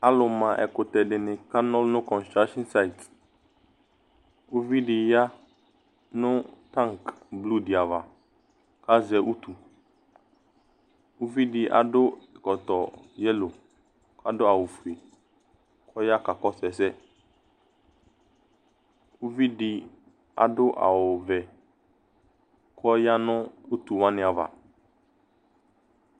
alò ma ɛkutɛ di ni ka n'ɔlu no kɔnstrashin sait uvi di ya no tank blu di ava k'azɛ utu uvi di ado ɛkɔtɔ yɛlo k'ado awu fue k'ɔya ka kɔsu ɛsɛ uvi di ado awu vɛ k'ɔya no utu wani ava